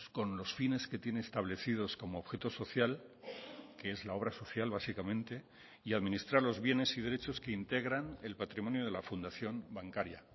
con los fines que tiene establecidos como objeto social que es la obra social básicamente y administrar los bienes y derechos que integran el patrimonio de la fundación bancaria